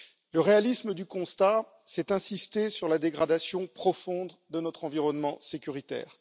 Le réalisme du constat c'est d'insister sur la dégradation profonde de notre environnement sécuritaire.